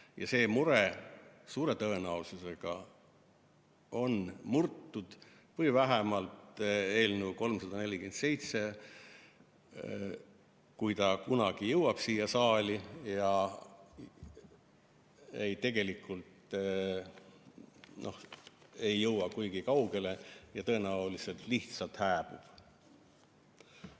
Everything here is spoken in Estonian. Ja see mure suure tõenäosusega on murtud või vähemalt eelnõu 347, kui ta kunagi jõuab siia saali, tegelikult ei jõua kuigi kaugele ja tõenäoliselt lihtsalt hääbub.